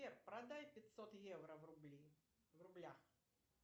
сбер продай пятьсот евро в рубли в рублях